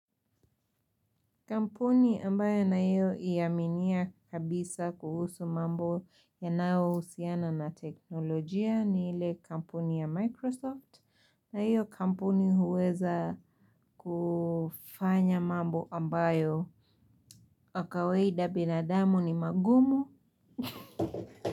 Kampuni ambayo nayoiaminia kabisa kuhusu mambo yanaohusiana na teknolojia ni ile kampuni ya Microsoft na hiyo kampuni huweza kufanya mambo ambayo kwa kawaida binadamu ni magumu.